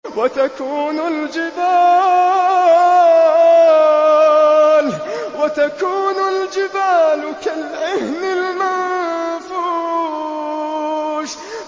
وَتَكُونُ الْجِبَالُ كَالْعِهْنِ الْمَنفُوشِ